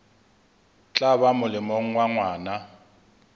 tla ba molemong wa ngwana